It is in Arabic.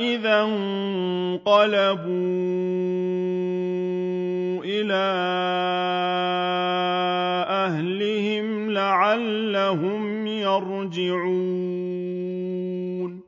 إِذَا انقَلَبُوا إِلَىٰ أَهْلِهِمْ لَعَلَّهُمْ يَرْجِعُونَ